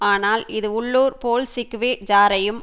ஆனால் இது உள்ளூர் போல்ஷிக்வி ஜாரையும்